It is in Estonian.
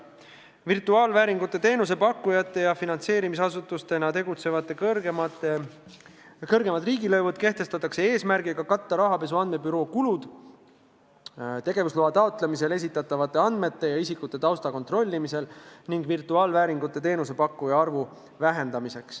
Virtuaalvääringu teenuse pakkujate ja finantseerimisasutusena tegutsejate kõrgemad riigilõivud kehtestatakse eesmärgiga katta rahapesu andmebüroo kulud tegevusloa taotlemisel esitatavate andmete ja isikute tausta kontrollimisel, samuti selleks, et vähendada virtuaalvääringu teenuse pakkujate arvu.